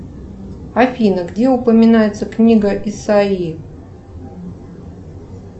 афина где упоминается книга исаи